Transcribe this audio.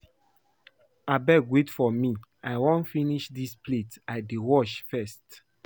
Abeg wait for me, I wan finish dis plates I dey wash first